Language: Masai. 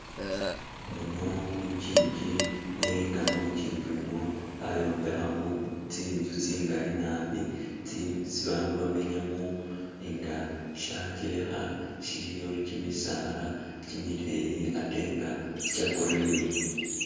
Muno mulukyingi, nenga mulukyingi umwo bayombekhamo tsi'nzu tsingali nabi tsi esi bandu bamenyamo, nga shangelekha shiliyo kyimisaala kyimileyi atenga kya green.